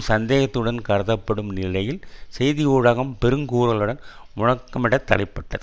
சந்தேகத்துடன் கருதப்படும் நிலையில் செய்தி ஊடகம் பெரும் குரலுடன் முழக்கமுடத்தலைப்பட்டது